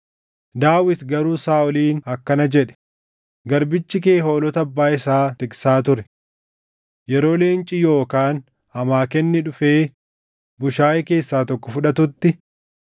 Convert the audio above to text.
Daawit garuu Saaʼoliin akkana jedhe; “Garbichi kee hoolota abbaa isaa tiksaa ture. Yeroo leenci yookaan amaakenni dhufee bushaayee keessaa tokko fudhatutti,